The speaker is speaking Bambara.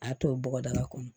A to bɔgɔdaga kɔnɔ